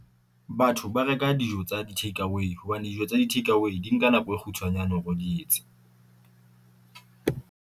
Batho ba reka dijo tsa di-take away hobane, dijo tsa di-take away di nka nako e kgutshwanyane hore o di etse.